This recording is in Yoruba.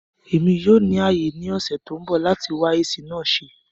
Emi yoo ni aye ni ọsẹ to nbọ lati wa AC naa se.